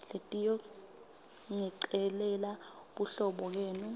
letiyongicelela buhlobo kenu